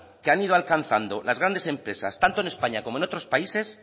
que han ido alcanzando las grandes empresas tanto en españa como en otros países